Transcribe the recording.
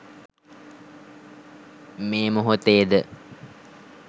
මේ මොහොතේ ද